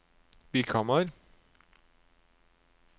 Vikhamar